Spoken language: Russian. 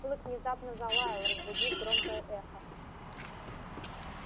клык внезапно залаял разбудив громкое эхо